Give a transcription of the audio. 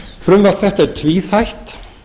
frumvarp þetta er tvíþætt